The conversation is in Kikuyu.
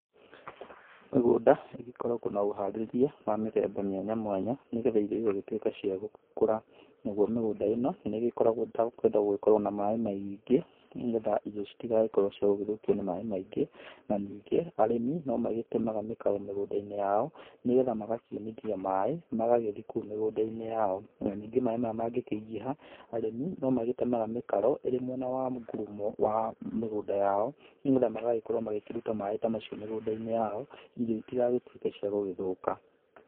Mĩgũnda ĩgĩkoragwo na ũharĩrĩria wa mĩthemba mwanya mwanya nĩgetha irio igagĩtuĩka cia gũgĩkũra. Naguo mĩgũnda ĩno, nĩ ĩgĩkoragwo ĩtagĩkwenda gũgĩkorwo na maĩ maingĩ nĩ getha irio citigagĩkorwo cia gũgĩthũkio nĩ maĩ maingĩ. Na ningĩ arĩmi no magĩtemaga mĩkaro mĩgũnda-inĩ yao nĩ getha magakiunithia maĩ magathi kũu mĩgũnda-inĩ yao. Na ningĩ maĩ maya mangĩkĩingĩha, arĩmi no magĩtemaga mĩkaro ĩrĩ mwena wa ngurumo wa mĩgũnda yao, nĩ getha magagĩkorwo magĩkĩruta maĩ ta macio mĩgũnda-inĩ yao irio itigagĩtuĩke cia gũgĩthũka.